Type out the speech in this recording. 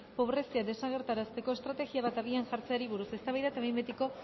pobrezia desagerrarazteko estrategia bat abian jartzeari buruz eztabaida eta behin betiko